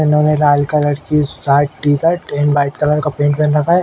इन्होंने लाल कलर की shirt t shirt and white colour का पैंट पहन रखा है।